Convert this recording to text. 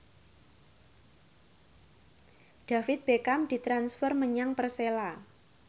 David Beckham ditransfer menyang Persela